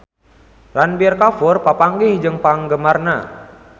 Ranbir Kapoor papanggih jeung penggemarna